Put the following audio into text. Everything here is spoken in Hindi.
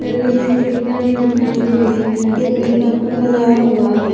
गली में खिड़कियां भी दिखाई दे रही है बगल में स्टर लगाया हुआ है।